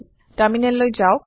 টাৰমিনেললৈ যাওক